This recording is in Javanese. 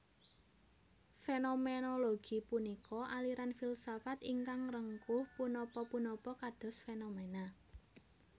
Fénoménologi punika aliran filsafat ingkang ngrengkuh punapa punapa kados fénomèna